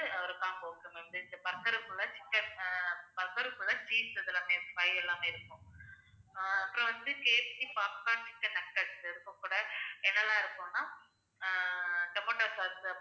ஒரு combo இருக்கு. ரெண்டு burger குள்ள chicken ஆஹ் burger குள்ள cheese இதெல்லாமே fry எல்லாமே இருக்கும். ஆஹ் அப்புறம் வந்து KFCpopcorn chicken nuggets உட்பட என்னெல்லாம் இருக்குண்ணா ஆஹ் tomato sauce அப்புறம்